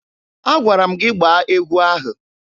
Agwara m gị gbaa egwu ahụ!